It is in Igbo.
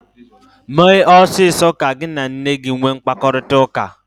Mee ọsịsọ ka gị na nne gi nwee mkparịkọtaụka!